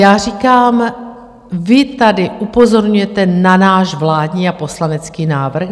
Já říkám, vy tady upozorňujete na náš vládní a poslanecký návrh.